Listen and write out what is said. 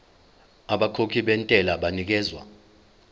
abakhokhi bentela banikezwa